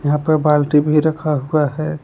यहां पे बाल्टी भी रखा हुआ है।